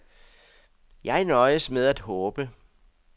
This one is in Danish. Jeg nøjes med at håbe.